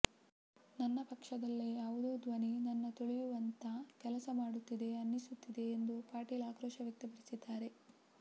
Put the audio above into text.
ನನ್ನ ಪಕ್ಷದಲ್ಲೆ ಯಾವುದೋ ಧ್ವನಿ ನನ್ನ ತುಳಿಯುವಂತ ಕೆಲಸ ಮಾಡುತ್ತಿದೆ ಅನ್ನಿಸುತ್ತಿದೆ ಎಂದು ಪಾಟೀಲ್ ಆಕ್ರೋಶ ವ್ಯಕ್ತಪಡಿಸಿದ್ದಾರೆ